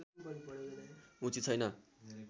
उचित छैन